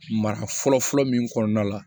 Mara fɔlɔ fɔlɔ min kɔnɔna la